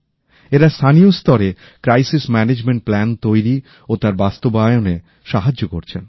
এরা স্থানীয় স্তরে বিপর্যয় ব্যবস্থাপনার পরিকল্পনা তৈরি ও তার বাস্তবায়নে সাহায্য করছেন